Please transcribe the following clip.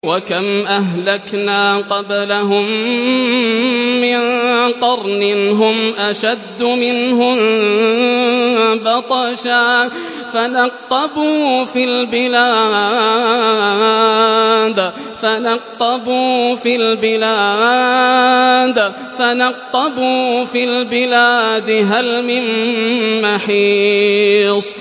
وَكَمْ أَهْلَكْنَا قَبْلَهُم مِّن قَرْنٍ هُمْ أَشَدُّ مِنْهُم بَطْشًا فَنَقَّبُوا فِي الْبِلَادِ هَلْ مِن مَّحِيصٍ